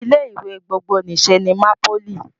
Ilé ìwé gbogbonìṣe ni MAPOLY